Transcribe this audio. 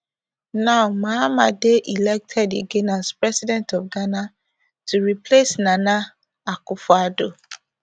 now mahama dey elected again as president of ghana to replace nana akufoaddo